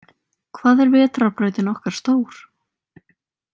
Hvað er vetrarbrautin okkar stór?